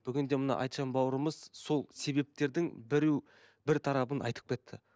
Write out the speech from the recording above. бүгінде мына айтжан бауырымыз сол себептердің біреу бір тарабын айтып кетті